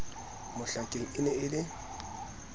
mohlakeng e ne e le